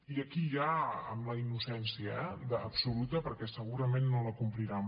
i aquí ja amb la innocència eh absoluta perquè segurament no la compliran